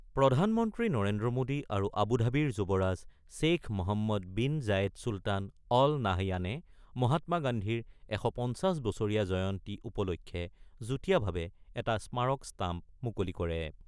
প্ৰধানমন্ত্ৰী নৰেন্দ্ৰ মোদী আৰু আবুধাবিৰ যুৱৰাজ Sheikh Mohammed bin Zayed Sultan Al নাহয়ানে মহাত্মা গান্ধীৰ ১৫০ বছৰীয়া জয়ন্তী উপলক্ষে যুটীয়াভাৱে এটা স্মাৰক ষ্টাম্প মুকলি কৰে।